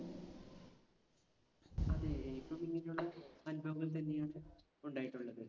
അതെ. എനിക്കും ഇങ്ങിനെയുള്ള അനുഭവങ്ങൾതന്നെയാണ് ഉണ്ടായിട്ടുള്ളത്.